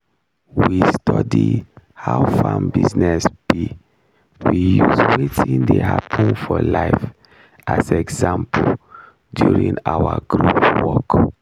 we study how farm business be we use watin dey happen for life as example during our group work